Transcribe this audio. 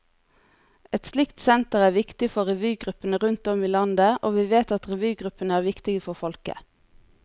Et slikt senter er viktig for revygruppene rundt om i landet, og vi vet at revygruppene er viktige for folket.